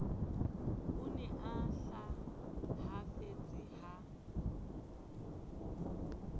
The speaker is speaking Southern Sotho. o ne a hlahafetse ha